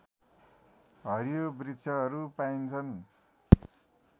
हरियो वृक्षहरू पाइन्छन्